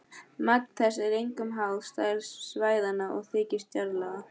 Magn þess er einkum háð stærð svæðanna og þykkt jarðlaga.